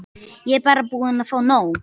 Ég er bara búin að fá nóg.